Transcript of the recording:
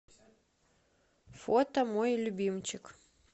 фото мой любимчик